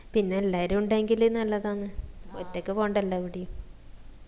പിന്നെ എല്ലാരും ഉണ്ടെകിൽ നല്ലതാന്നു ഒറ്റക്ക് പോണ്ടല്ല എവിടേം